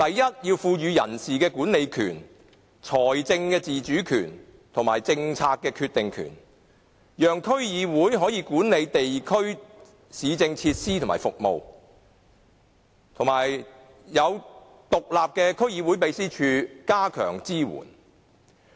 首先，要賦予區議會人事管理權、財政自主權及政策決定權，讓區議會可以管理地區市政設施和服務，並設有獨立的區議會秘書處，加強對其支援。